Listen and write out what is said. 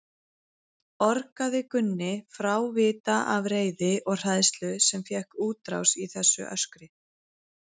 orgaði Gunni frávita af reiði og hræðslu sem fékk útrás í þessu öskri.